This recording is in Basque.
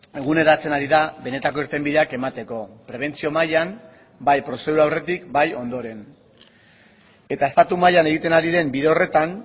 eguneratzen ari da benetako irtenbideak emateko prebentzio mailan bai prozedura aurretik bai ondoren eta estatu mailan egiten ari den bide horretan